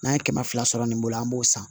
N'an ye kɛmɛ fila sɔrɔ nin bolo an b'o san